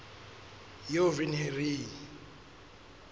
eo re neng re e